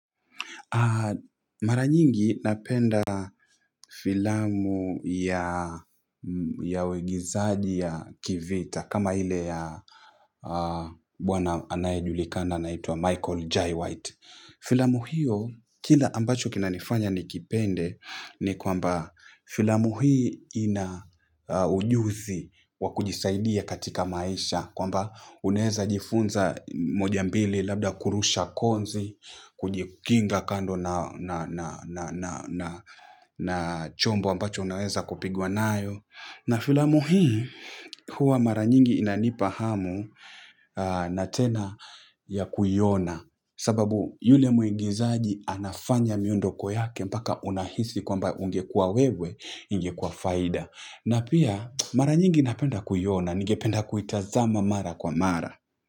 Mara nyingi napenda filamu ya uigizaji ya kivita kama ile ya bwana anayejulikana anaitwa Michael J. White. Filamu hio kile ambacho kinanifanya nikipende ni kwamba filamu hii ina ujuzi wa kujisaidia katika maisha kwamba unaeza jifunza mojambili labda kurusha konzi, kujikinga kando na na chombo ambacho unaweza kupigwa nayo na filamu hii, huwa mara nyingi inanipa hamu na tena ya kuiona sababu yule mwigizaji anafanya miondoko yake mpaka unahisi kwamba ungekuwa wewe ingekuwa faida. Na pia mara nyingi napenda kuiona, ningependa kuitazama mara kwa mara.